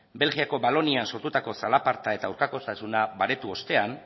belgikako valonian sortutako zalaparta eta aurkakotasuna baretu ostean